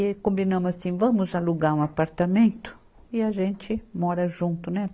E combinamos assim, vamos alugar um apartamento e a gente mora junto, né?